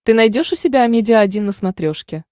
ты найдешь у себя амедиа один на смотрешке